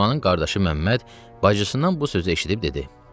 Fatmanın qardaşı Məmməd bacısından bu sözü eşitdi və dedi: